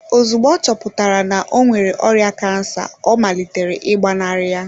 Ozugbo ọ chọpụtara na ọ nwere ọrịa kansa ọ malitere ịgbanarị ya.